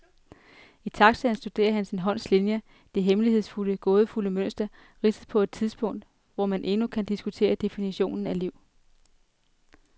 I taxaen studerer han sin hånds linjer, det hemmelighedsfulde, gådefulde mønster ridset på et tidspunkt, hvor man endnu kan diskutere definitionen af liv.